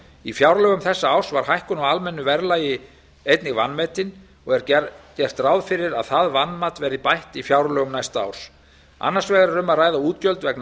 í fjárlögum þessa árs var hækkun á almennu verðlagi einnig vanmetin og er gert ráð fyrir að það vanmat verði bætt í fjárlögum næsta árs annars vegar er um að ræða útgjöld vegna